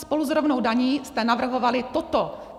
Spolu s rovnou daní jste navrhovali toto!